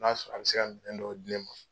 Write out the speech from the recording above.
N'a sɔrɔ a' bɛ se ka minɛn dɔw di ne ma